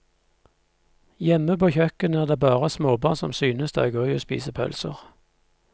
Hjemme på kjøkkenet er det bare småbarn som synes det er gøy å spise pølser.